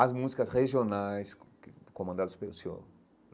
As músicas regionais comandadas pelo Sr.